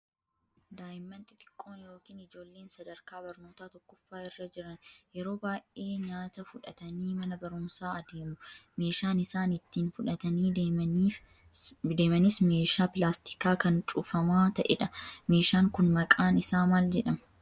Daa'imman xixiqqoon yookiin ijoolleen sadarkaa barnootaa tokkoffaa irra jiran yeroo baay'ee nyaata fudhatanii mana barumsaa adeemu. Meeshaan isaan itti fudhatanii deemanis meeshaa pilaastikaa kan cufamaa ta'edha. Meeshaan kun maqaan isaa maal jedhama?